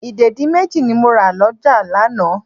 Ìdèdí méjì ni mo rà lọ́jà lánàá.